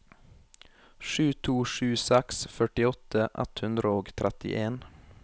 sju to sju seks førtiåtte ett hundre og trettien